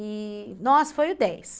E, nossa, foi o dez.